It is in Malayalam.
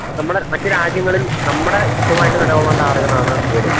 നമ്മടെ മറ്റുരാജ്യങ്ങളിൽ നമ്മടെ ശബ്ദമായിട്ട് നിലകൊള്ളേണ്ട ആളുകളാണ് ഇവര്.